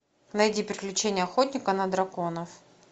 найди приключения охотника на драконов